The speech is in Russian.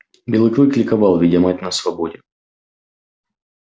белый клык ликовал видя мать на свободе